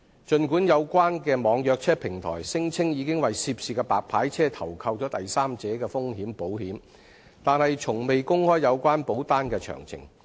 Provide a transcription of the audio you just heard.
儘管有關的網約車平台聲稱已為涉事的白牌車投購第三者風險保險，但從未公開有關保單的詳情。